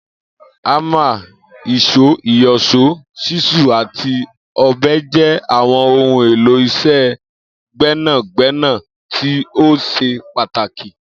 Ámà, ìs̩ó, ìyò̩s̩ó, s̩ísù àti ò̩be̩ jé̩ àwo̩n ohun èlò is̩é̩ gbé̩nàgbé̩nà tí ó s̩e pàtàkì